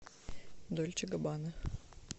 дольче габбана